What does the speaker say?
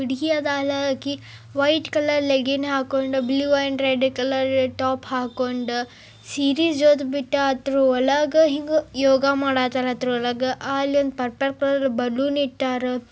ಹುಡುಗಿ ಆಕಿ white colour leggings ಹಾಕೊಂಡು ಬ್ಲೂ ಅಂಡ್ ರೆಡ್ಲ ಕಲರ್ ಟಾಪ್ ಹಾಕೊಂಡು ಸೀರೀಸ್ ಜೋತ್ ಬಿಟ್ಟ ತೃ ಒಳಗ ಹಿಂಗ್ ಯೋಗ ಮಡತ್ರಾಳ ಹಿಂಗ ಆಲೊಂದ್ ಪರ್ಪಲ್ ಕಲರ್ ಬಲೂನ್ ಇಟ್ಟರ.